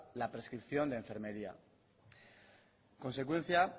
la prescripción de enfermería en consecuencia